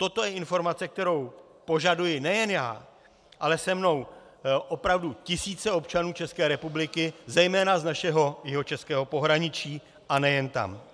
Toto je informace, kterou požaduji nejen já, ale se mnou opravdu tisíce občanů České republiky, zejména z našeho jihočeského pohraničí, a nejen tam.